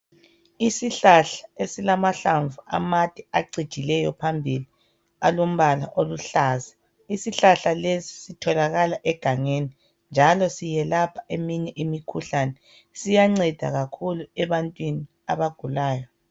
isihlahal esilamahlamvu amade acijileyo phambili alombala oluhlaza isihlahal lesi sitholakala egangeni njalo siyelapha eminye imikhuhlane siyanceda kakhulu ebantwini abagulayo